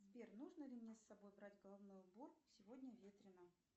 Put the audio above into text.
сбер нужно ли мне с собой брать головной убор сегодня ветрено